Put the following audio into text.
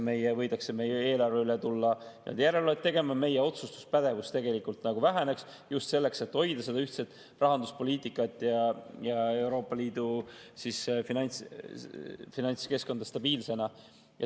Võidakse tulla meie eelarve üle järelevalvet tegema, meie otsustuspädevus tegelikult väheneks, just selleks, et hoida seda ühtset rahanduspoliitikat ja Euroopa Liidu finantskeskkonda stabiilsena.